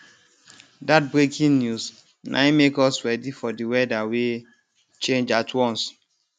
dat breaking news na im make us ready for di weather wey change at once